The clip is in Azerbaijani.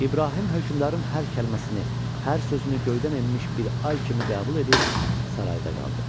İbrahim hökmdarın hər kəlməsini, hər sözünü göydən enmiş bir ay kimi qəbul edib sarayda qaldı.